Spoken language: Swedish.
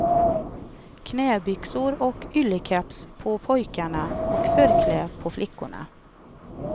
Knäbyxor och yllekeps på pojkarna och förkläde på flickorna.